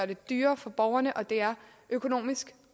det dyrere for borgerne og det er økonomisk